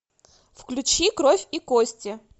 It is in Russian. включи кровь и кости